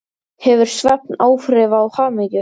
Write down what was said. Hefur svefn áhrif á hamingju?